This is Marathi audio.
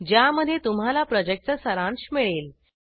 ज्यामध्ये तुम्हाला प्रॉजेक्टचा सारांश मिळेल